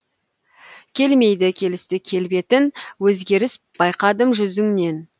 келмейді келісті келбетін өзгеріс байқадым жүзіңнен